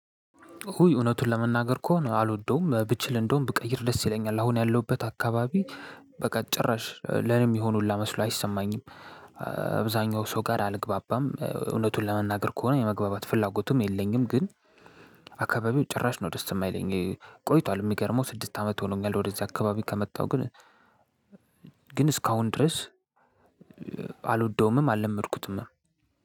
እውነቱን ለመናገር ከሆነ አልወደውም ብችል እንደውም ብቀይር ደስ ይለኛል አሁን ያለሁበት አካባቢ በቃ ጭራሽ ለእኔ የሚሆን ሁላ መስሎ አይሰማኝም። አብዛኛው ሰው ጋር አልግባባም እውነቱን ለመናገር ከሆነ የመግባባት ፍላጎቱም የለኝም ግን። አካባቢው ጭራሽ ነው ደስ የማይለኝ ቆይቷል። የሚገርመው ስድስት አመት ሆኖኛል ወደእዚህ አካባቢ ከመጣሁ ግን ግን እስካሁን ድረስ አልወደውምም አልለመድኩትምም።